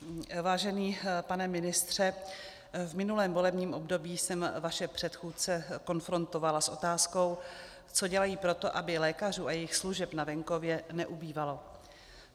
Vážený pane ministře, v minulém volebním období jsem vaše předchůdce konfrontovala s otázkou, co dělají proto, aby lékařů a jejich služeb na venkově neubývalo.